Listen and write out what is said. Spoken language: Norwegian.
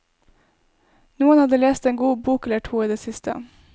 Noen hadde lest en god bok eller to i det siste.